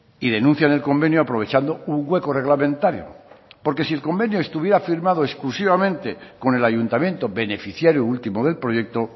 y denuncian el convenio aprovechando un hueco reglamentario porque si el convenio estuviera firmado exclusivamente con el ayuntamiento beneficiario último del proyecto